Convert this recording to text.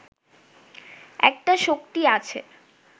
একটা শক্তি আছে